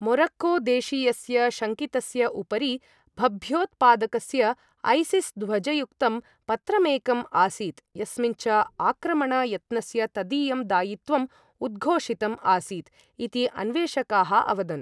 Morocco देशीयस्य शङ्कितस्य उपरि भभ्योत्पादकस्य ऐसिस् ध्वजयुक्तं पत्रकमेकम् आसीत्, यस्मिन् च आक्रमण यत्नस्य तदीयं दायित्वम् उद्घोषितम् आसीत् इति अन्वेषकाः अवदन्।